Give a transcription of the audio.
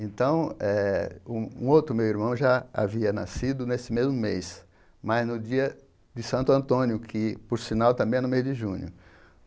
Então eh, um outro meu irmão já havia nascido nesse mesmo mês, mas no dia de Santo Antônio, que por sinal também é no mês de junho.